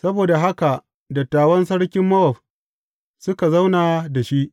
Saboda haka dattawan sarkin Mowab suka zauna da shi.